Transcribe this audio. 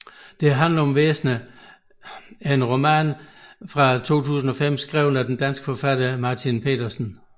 Det handler om væsner er en roman fra 2005 skrevet af den danske forfatter Martin Petersen